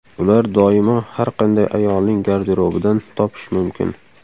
Ular doimo har qanday ayolning garderobidan topish mumkin.